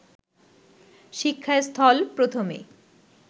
শিক্ষাস্থল প্রথমে